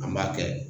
An b'a kɛ